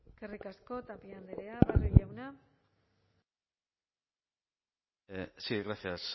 eskerrik asko tapia andrea barrio jauna sí gracias